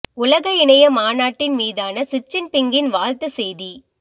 உலக இணைய மாநாட்டின் மீதான ஷி ச்சின் பிங்கின் வாழ்த்து செய்தி